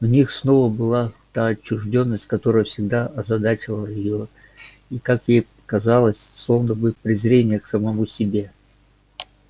в них снова была та отчуждённость которая всегда озадачивала её и как ей показалось словно бы презрение к самому себе